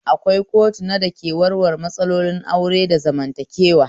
Akwai kotuna da ke warware matsalolin aure da zamantakewa